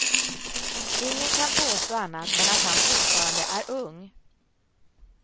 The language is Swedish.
Ingen kan påstå annat än att han fortfarande är ung.